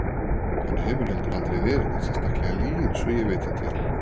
Hann hefur heldur aldrei verið neitt sérstaklega lyginn svo ég viti til.